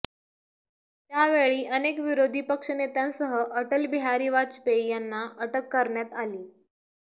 त्यांवेळी अनेक विरोधी पक्ष नेत्यांसह अटल बिहारी वाजपेयी यांना अटक करण्यात आली